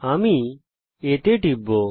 আমি A তে টিপব